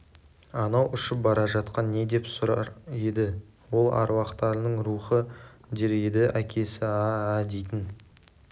анау ұшып бара жатқан не деп сұрар еді ол аруақтардың рухы дер еді әкесі а-а дейтін